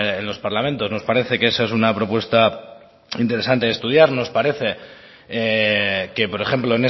en los parlamentos nos parce que esa es una propuesta interesante de estudiar nos parece que por ejemplo